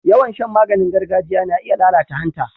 Yawan shan maganing gargajiya na iya lalata hanta.